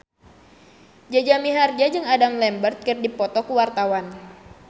Jaja Mihardja jeung Adam Lambert keur dipoto ku wartawan